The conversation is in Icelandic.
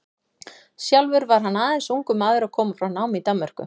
Sjálfur var hann aðeins ungur maður að koma frá námi í Danmörku.